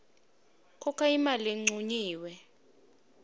khokha imali lencunyiwe